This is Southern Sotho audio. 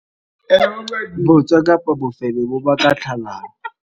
Bootswa kapa bofebe bo ka baka tlhalano.